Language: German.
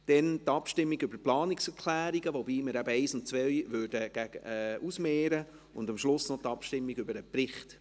Danach kämen die Abstimmungen über die Planungserklärungen, wobei wir die Nummer 1 und 2 ausmehren würden, und am Schluss käme noch die Abstimmung über den Bericht.